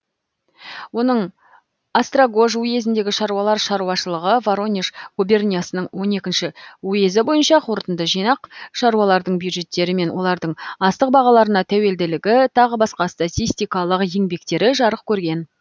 оның острогож уезіндегі шаруалар шаруашылығы воронеж губерниясының он екінші уезі бойынша қорытынды жинақ шаруалардың бюджеттері мен олардың астық бағаларына тәуелділігі тағы басқа статистикалық еңбектері жарық көрген